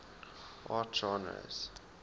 art genres